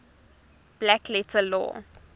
black letter law